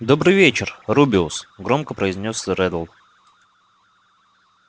добрый вечер рубеус громко произнёс реддл